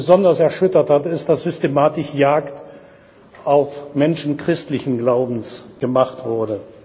Was mich besonders erschüttert, ist, dass systematisch Jagd auf Menschen christlichen Glaubens gemacht wurde.